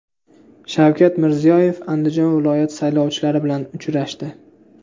Shavkat Mirziyoyev Andijon viloyati saylovchilari bilan uchrashdi.